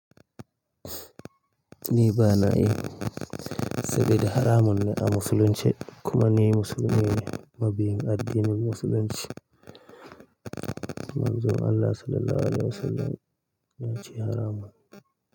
Ni ba na yi sabida haramun ne a musulunci kuma ni musulmi ne, mabiyin addinin musulunci. Manzon Allah Sallallahu Alaihi Wasallam ya ce haramun.